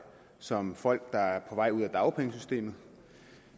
som folk der er på vej ud af dagpengesystemet